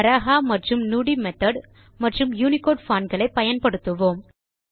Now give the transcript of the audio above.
பராஹா மற்றும் நுடி மெத்தோட் மற்றும் Unicode font களை பயன்படுத்துவோம்